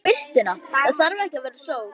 Eða bara birtuna, það þarf ekki að vera sól.